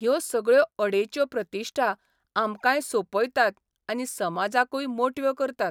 ह्यो सगळ्यो अडेच्यो प्रतिश्ठा आमकांय सोंपयतात आनी समाजाकूय मोटव्यो करतात.